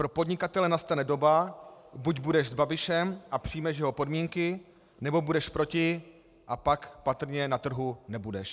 Pro podnikatele nastane doba: buď budeš s Babišem a přijmeš jeho podmínky, nebo budeš proti, a pak patrně na trhu nebudeš.